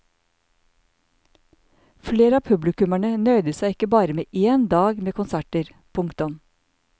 Flere av publikummerne nøyde seg ikke bare med én dag med konserter. punktum